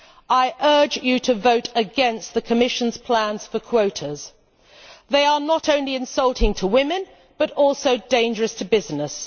I urge you to vote against the Commission's plans for quotas. Quotas are not only insulting to women but also dangerous to business.